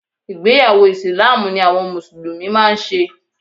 Ìgbéyàwọ́ ìsìláámù ni àwọn mùsùlùmí máa ń ṣe